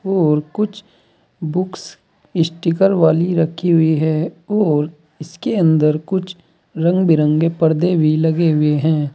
और कुछ books sticker वाली रखी हुई है और इसके अंदर कुछ रंग बिरंगे पर्दे भी लगे हुए हैं।